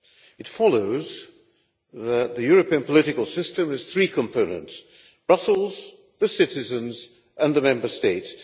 It follows that the European political system has three components Brussels, the citizens, and the Member States.